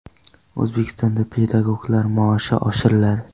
O‘zbekistonda pedagoglar maoshi oshiriladi.